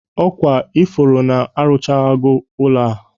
Ọ kwa ị fụrụ na-arụchawago ụlọ a?